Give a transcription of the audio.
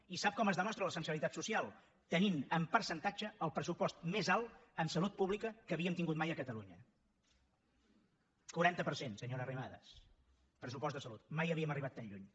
i sap com es demostra la sensibilitat social tenint en percentatge el pressupost més alt en salut pública que havíem tingut mai a catalunya quaranta per cent senyora arrimadas pressupost de salut mai havíem arribat tan lluny